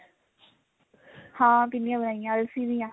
ਹਾਂ ਪਿੰਨੀਆ ਬਣਾਇਆ ਅਲਸੀ ਦੀਆਂ